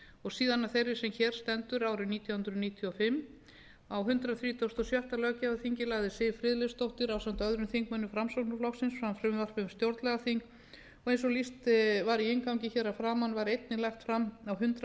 og síðan af þeirri sem hér stendur árið nítján hundruð níutíu og fimm á hundrað þrítugasta og sjötta löggjafarþingi lagði siv friðleifsdóttir ásamt öðrum þingmönnum framsóknarflokksins fram frumvarp um stjórnlagaþing og eins og lýst var í inngangi hér að framan var einnig lagt fram á hundrað